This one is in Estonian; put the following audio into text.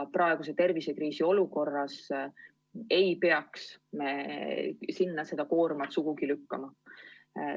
Praeguses tervisekriisi olukorras ei tohiks me nende õlule seda koormat sugugi lükata.